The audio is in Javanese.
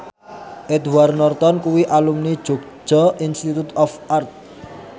Edward Norton kuwi alumni Yogyakarta Institute of Art